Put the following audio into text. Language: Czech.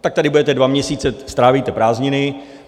Tak tady budete dva měsíce, strávíte prázdniny.